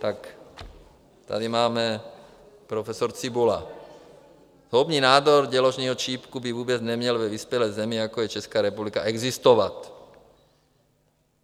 Tak tady máme - profesor Cibula: Zhoubný nádor děložního čípku by vůbec neměl ve vyspělé zemi, jako je Česká republika, existovat.